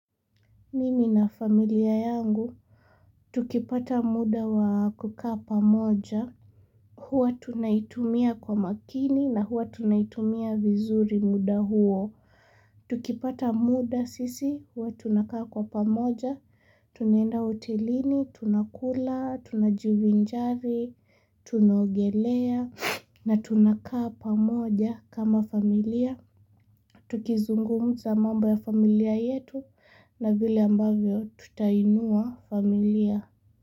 Mimi na familia yangu, tukipata muda wa kukaa pamoja, huwa tunaitumia kwa makini na huwa tunaitumia vizuri muda huo. Tukipata muda sisi, huwa tunakaa kwa pamoja, tunaenda hotelini, tunakula, tunajivinjari, tunaogelea, na tunakaa pamoja kama familia. Tukizungumza mambo ya familia yetu na vile ambavyo tutainua familia.